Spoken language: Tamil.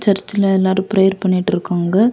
இந்த இடத்துல எல்லாரும் பிரேர் பண்ணிட்டு இருக்காங்க.